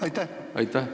Aitäh!